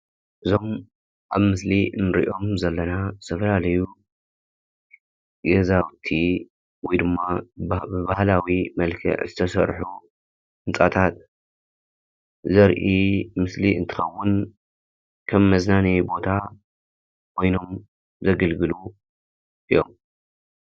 እዞም ኣብ ምስሊ እንሪኦም ዘለና ዝተፈላለዩ ገዛውቲ ወይድማ ብባህላዊ መልክዕ ዝተሰርሑ ህንጻታት ዘርኢ ምስሊ እንትኸውን ከም መዝናነይ ቦታ ኮይኖም ዘግልግሉ እዮም።